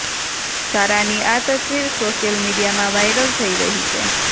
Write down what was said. સારાની આ તસ્વીર સોશિયલ મીડિયામાં વાયરલ થઇ રહી છે